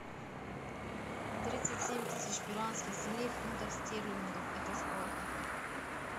тридцать семь тысяч перуанских солей в фунтах стерлингов это сколько